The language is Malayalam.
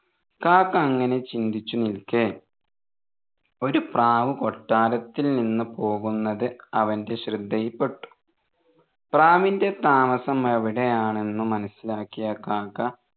കാക്ക അങ്ങനെ ചിന്തിച്ച് നിൽക്കെ ഒരു പ്രാവ് കൊട്ടാരത്തിൽ നിന്ന് പോവുന്നത് അവൻ്റെ ശ്രദ്ധയിൽ പെട്ടു പ്രാവിൻറെ താമസം എവിടെയാണെന്ന് മനസിലാക്കിയ കാക്ക